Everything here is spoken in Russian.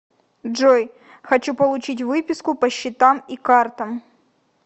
джой хочу получить выписку по счетам и картам